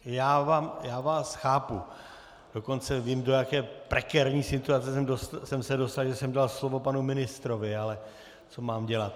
Já vás chápu, dokonce vím, do jaké prekérní situace jsem se dostal, že jsem dal slovo panu ministrovi, ale co mám dělat.